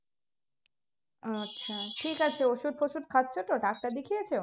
আচ্ছা ঠিক আছে ওষুধ ফসুধ খাচ্ছো তো ডাক্তার দেখিয়েছে